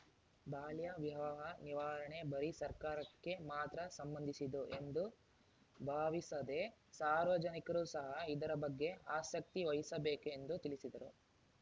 ಬಾಲ್ಯ ವಿವಾಹ ನಿವಾರಣೆ ಬರೀ ಸರ್ಕಾರಕ್ಕೆ ಮಾತ್ರ ಸಂಬಂಧಿಸಿದ್ದು ಎಂದು ಭಾವಿಸದೆ ಸಾರ್ವಜನಿಕರು ಸಹಾ ಇದರ ಬಗ್ಗೆ ಆಸಕ್ತಿವಹಿಸಬೇಕೆಂದು ತಿಳಿಸಿದರು